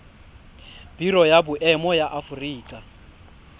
biro ya boemo ya aforika